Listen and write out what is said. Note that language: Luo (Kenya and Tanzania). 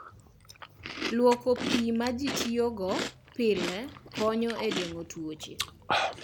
Lwoko pi ma ji tiyogo pile konyo e geng'o tuoche.